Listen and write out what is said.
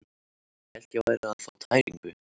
Ég hélt ég væri að fá tæringu.